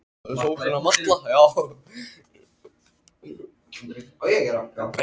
Láttu mig nú kemba það vinan.